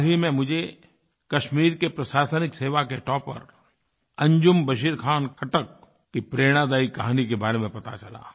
हाल ही में मुझे कश्मीर के प्रशासनिक सेवा के टॉपर अंजुम बशीर खान खट्टक अंजुम बशीर खान खट्टक की प्रेरणादायी कहानी के बारे में पता चला